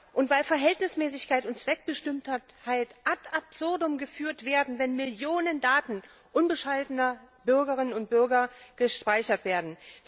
Und weil Verhältnismäßigkeit und Zweckbestimmtheit ad absurdum geführt werden, wenn Millionen Daten unbescholtener Bürgerinnen und Bürger gespeichert werden.